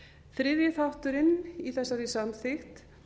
þriðji þátturinn í þessari samþykkt